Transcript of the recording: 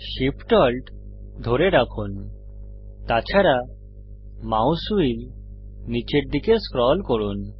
Shift Alt ধরে রাখুন তাছাড়া মাউস হুইল নীচের দিকে স্ক্রল করুন